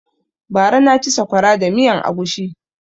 Bara na ci saƙwara da miyan agushi